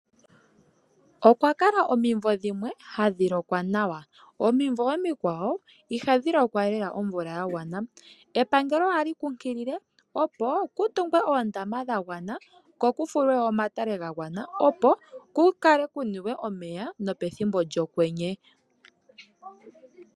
Okwakala omimvo dhimwe hadhi lokwa nawa nadhimwe ihadhi lokwa omvula yagwana. Epangelo ohali kunkilile opo kutungwe oondama dhagwana nomatale gagwana opo opo ku kale kuniwe omeya no pethimbo lyokwenye.